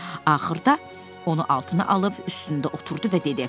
Axırda onu altına alıb üstündə oturdu və dedi: